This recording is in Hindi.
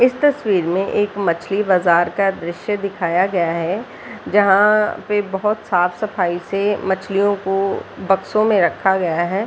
इस तस्वीर में एक मछली बाजार का दृस्य दिखया गया है जहाँ पे बहुत साफ-सफाई से मछलियों को बक्सों में रखा गया है।